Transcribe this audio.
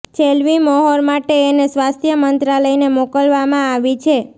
છેલ્વી મોહર માટે એને સ્વાસ્થ્ય મંત્રાલયને મોકલવામાં આવી છે